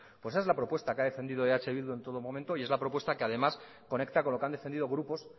pues esa es la propuesta que ha defendido eh bildu en todo momento y es la propuesta que además conecta con lo que han defendido grupos